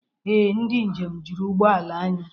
Ee, ndị njem juru ụgbọala anyị.